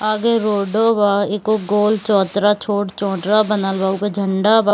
आगे रोडो बा एगो गोल चबूतरा छोट चबूतरा बनल बा उमे झण्डा बा।